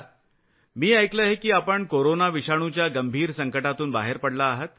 मोदीजीः मी ऐकलं आहे की आपण कोरोना विषाणुच्या गंभीर संकटातून बाहेर पडला आहात